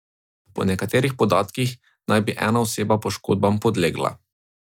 Po nekaterih podatkih naj bi ena oseba poškodbam podlegla.